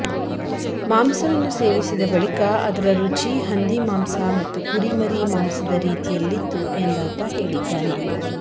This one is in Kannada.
ಮಾಂಸವನ್ನು ಸೇವಿಸಿದ ಬಳಿಕ ಅದರ ರುಚಿ ಹಂದಿ ಮಾಂಸ ಮತ್ತು ಕುರಿಮರಿ ಮಾಂಸದ ರೀತಿಯಲ್ಲಿತ್ತು ಎಂದಾತ ಹೇಳಿದ್ದಾನೆ